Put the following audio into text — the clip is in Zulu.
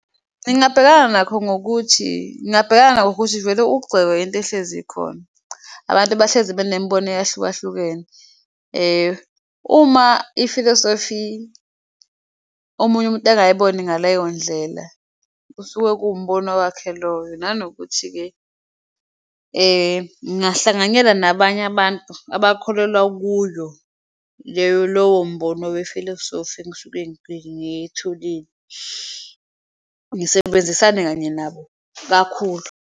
Ngingabhekana nakho ngokuthi, ngingabhekana nakho ngokuthi vele ukugxekwa into ehlezi ikhona abantu bahlezi banemibono eyahlukahlukene uma ifilosofi omunye umuntu angayiboni ngaleyondlela, kusuke kuwumbono wakhe loyo. Nanokuthi-ke ningahlanganyela nabanye abantu abakholelwa kuyo lowo mbono wefilosofi engisuke ngiyitholile, ngisebenzisane kanye nabo kakhulu.